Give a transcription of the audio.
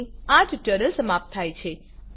અહીં આ ટ્યુટોરીયલ સમાપ્ત થાય છે